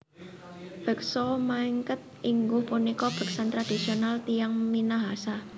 Beksa Maengket ingguh punika beksan tradisional tiyang Minahasa